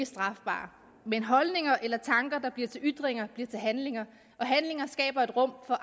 strafbare men holdninger eller tanker der bliver til ytringer bliver til handlinger og handlinger skaber et rum for